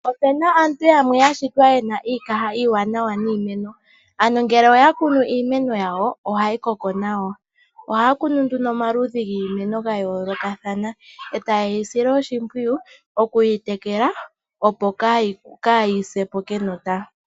Ope na aantu yamwe yashitwa ye na iikaha iiwanawa niimeno. Ano ngele oya kunu iimeno yawo ohayi koko nawa. Ohaya kunu nduno omaludhi giimeno ya yoolokathana e ta ye yi sile oshimpwiyu oku yi tekela opo kaayi se po kenota.